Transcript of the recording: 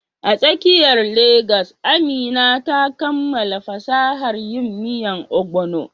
A tsakiyar Legas, Amina ta kammala fasahar yin miya Ogbono.